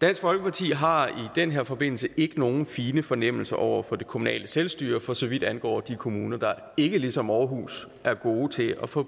dansk folkeparti har i den her forbindelse ikke nogen fine fornemmelser over for det kommunale selvstyre for så vidt angår de kommuner der ikke ligesom aarhus er gode til at få